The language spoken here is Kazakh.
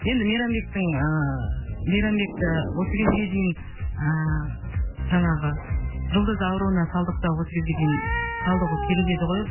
енді мейрамбектің ыыы мейрамбекті осы кезге дейін ыыы жаңағы жұлдыз ауруына шалдықса осы кезге дейін шалдығуы керек еді ғой